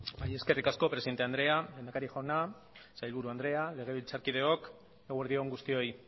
bai eskerrik asko presidente andrea lehendakari jauna sailburu andrea legebiltzarkideok eguerdi on guztioi